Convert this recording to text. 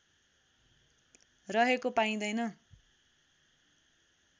रहेको पाइदैन